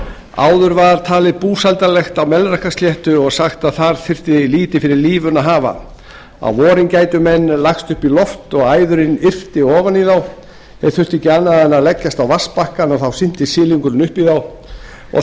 áður var talið búsældarlegt á melrakkasléttu og sagt að þar þyrfti lítið fyrir lífinu að hafa á vorin gætu menn lagst upp í loft og æðurin yrpi ofan í þá þeir þyrftu ekki annað en leggjast á vatnsbakkann og þá synti silungurinn upp í þá og